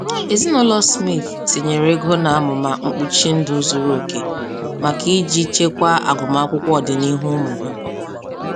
Ezinaụlọ Smith tinyere ego n'amụma mkpuchi ndụ zuru oke maka iji chekwaa agụmakwụkwọ ọdịnihu ụmụ ha.